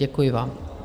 Děkuji vám.